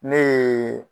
Ne ye